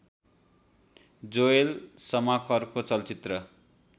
Joel शमाकरको चलचित्र